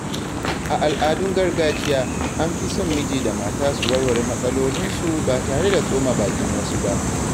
A al’adun gargajiya, an fi son miji da mata su warware matsalolinsu ba tare da tsoma bakin wasu ba.